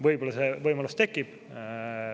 Võib-olla see võimalus tekib.